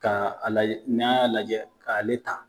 Ka a lajɛ n'an y'a lajɛ k'ale ta